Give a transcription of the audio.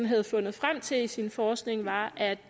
havde fundet frem til i sin forskning var at